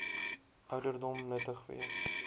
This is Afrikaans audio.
ouderdom nuttig wees